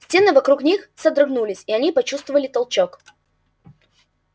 стены вокруг них содрогнулись и они почувствовали толчок